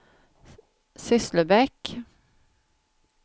Sysslebäck